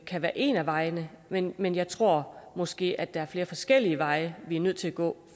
kan være en af vejene men men jeg tror måske at der er flere forskellige veje vi er nødt til at gå